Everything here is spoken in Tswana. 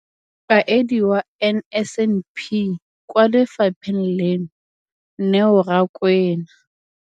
Mokaedi wa NSNP kwa lefapheng leno, Neo Rakwena.